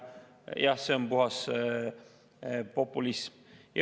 Jah, see on puhas populism.